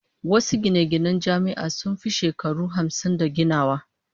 Wasu gine-ginen Jami'a sun fi shekaru hamsin da ginawa